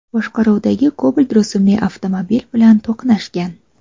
boshqaruvidagi Cobalt rusumli avtomobil bilan to‘qnashgan.